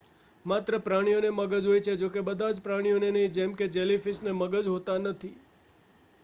માત્ર પ્રાણીઓને મગજ હોય છે જો કે બધા જ પ્રાણીઓને નહીં; જેમ કે જેલીફીશને મગજ હોતા નથી